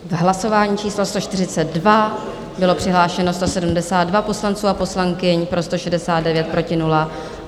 V hlasování číslo 142 bylo přihlášeno 172 poslanců a poslankyň, pro 169, proti nula.